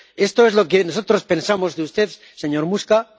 Esto es lo que nosotros pensamos de usted, señor Muscat.